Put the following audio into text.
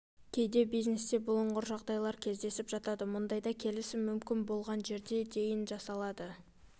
кейде бизнесте бұлыңғыр жағдайлар кездесіп жатады мұндайда келісім мүмкін болған жерге дейін жасалады